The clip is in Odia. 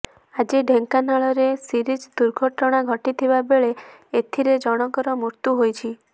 ଆଜି ଢେଙ୍କାନାଳରେ ସିରିଜ୍ ଦୁର୍ଘଟଣା ଘଟିଥିବା ବେଳେ ଏଥିରେ ଜଣଙ୍କର ମୃତ୍ୟୁ ହୋଇଛି